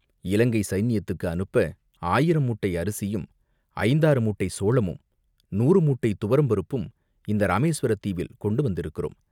இலங்கைச் சைன்யத்துக்கு அனுப்ப ஆயிரம் மூட்டை அரிசியும், ஐந்தாறு மூட்டை சோளமும், நூறு மூட்டை துவரம்பருப்பும் இந்த இராமேசுவரத் தீவில் கொண்டு வந்திருக்கிறோம்.